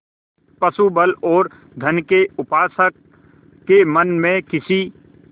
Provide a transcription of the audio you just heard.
पशुबल और धन के उपासक के मन में किसी